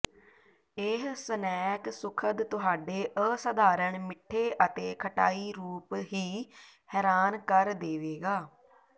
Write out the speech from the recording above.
ਇਹ ਸਨੈਕ ਸੁਖਦ ਤੁਹਾਡੇ ਅਸਧਾਰਨ ਮਿੱਠੇ ਅਤੇ ਖਟਾਈ ਰੂਪ ਹੀ ਹੈਰਾਨ ਕਰ ਦੇਵੇਗਾ